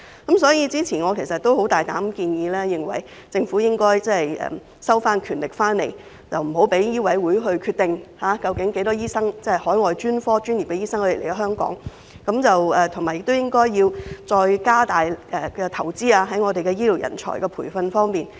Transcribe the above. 因此，早前我大膽建議政府收回權力，不再讓香港醫務委員會決定來港執業的海外專科醫生人數，並建議政府進一步加大投資於醫療人才培訓。